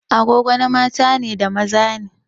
Agogo na mata da maza ne.